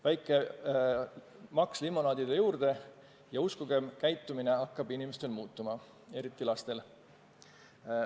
Väike maks limonaadile juurde, ja uskuge, inimeste käitumine hakkab muutuma, eriti lastel.